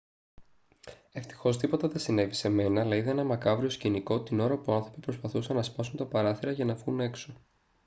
ευτυχώς τίποτα δεν συνέβη σε μένα αλλά είδα ένα μακάβριο σκηνικό την ώρα που άνθρωποι προσπαθούσαν να σπάσουν τα παράθυρα για να βγουν έξω